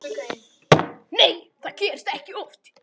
Nei það gerist ekki oft.